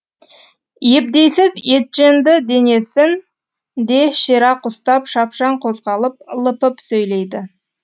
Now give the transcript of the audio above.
ебдейсіз етженді денесін де ширақ ұстап шапшаң қозғалып лыпып сөйлейді